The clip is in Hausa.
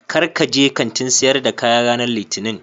Kar ka je Kantin sayar da kaya ranan litinin